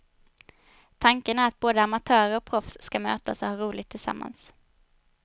Tanken är att både amatörer och proffs ska mötas och ha roligt tillsammans.